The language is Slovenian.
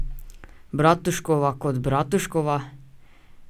Bratuškova kot Bratuškova?